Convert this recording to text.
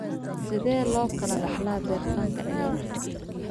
Sidee loo kala dhaxlaa bertanka cilaad?